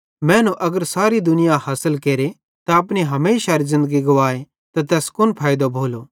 मैनू अगर सारी दुनियाई हासिल केरे त अपनी हमेशारी ज़िन्दगी गुवाए त तैस फिरी कुन फैइदो भोलो